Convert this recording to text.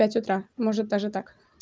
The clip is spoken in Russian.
пять утра может даже так